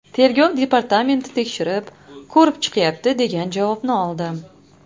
Tergov departamenti tekshirib, ko‘rib chiqyapti, degan javobni oldim.